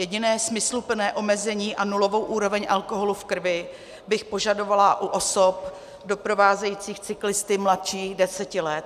Jediné smysluplné omezení a nulovou úroveň alkoholu v krvi bych požadovala u osob doprovázejících cyklisty mladší deseti let.